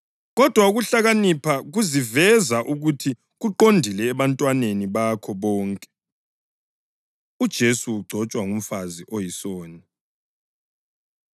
Kodwa ukuhlakanipha kuziveza ukuthi kuqondile ebantwaneni bakho bonke.” UJesu Ugcotshwa Ngumfazi Oyisoni